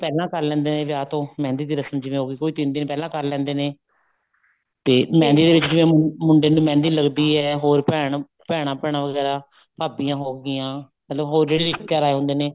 ਪਹਿਲਾਂ ਕਰ ਲਿੰਦੇ ਨੇ ਵਿਆਹ ਤੋਂ ਮਹਿੰਦੀ ਦੀ ਰਸਮ ਜਿਵੇਂ ਹੋ ਗਈ ਜਿਵੇਂ ਕੋਈ ਤਿੰਨ ਦਿਨ ਪਹਿਲਾ ਕਰ ਲੇਂਦੇ ਨੇ ਤੇ ਮਹਿੰਦੀ ਜਿਹੜੀ ਹੈ ਮੁੰਡੇ ਨੂੰ ਮਹਿੰਦੀ ਲੱਗਦੀ ਹੈ ਹੋਰ ਭੈਣ ਭੈਣਾ ਹੋਗੀਆਂ ਭਾਬੀਆਂ ਹੋਗੀਆਂ ਮਤਲਬ ਹੋਰ ਜਿਹੜੇ ਰਿਸ਼ਤੇਦਾਰ ਆਏ ਹੁੰਦੇ ਨੇ